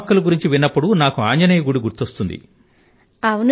నామక్కల్ ను గురించి విన్నప్పుడు నాకు ఆంజనేయర్ దేవాలయం గుర్తుకు వస్తుంది